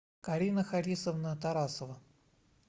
карина харисовна тарасова